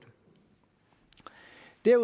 det er